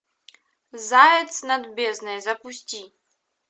заяц над бездной запусти